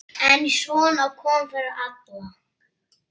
En svona kom fyrir alla.